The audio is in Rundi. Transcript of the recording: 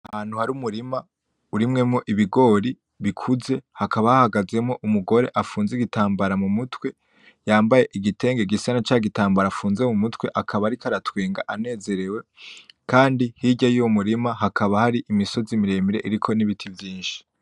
Ahantu hari umurima urimyemwo ibigori bikuze hakaba hahagazemwo umugore afunze igitambara mu mutwe , yambaye igitenge gisa na ca gitambara afunze mu mutwe ,akaba ariko aratwenga anezerewe kandi hirya y’uwo murima hakaba hari imisozi miremire iriko n’ibiti vyinshi .